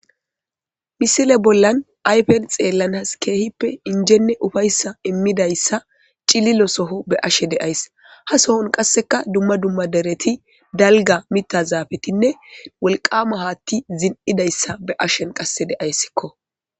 Missile bollan ayfes xellanas kehippe injjene uffayssa immidayssa cillo soho xellashe dayssi ha sohon qasseka dumma dumma deereti dalgga mitta zafettine wolqqama hatti zin'idayssa be'ashe qasse de'ayssikko.